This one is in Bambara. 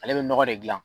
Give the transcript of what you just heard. Ale bɛ nɔgɔ de gilan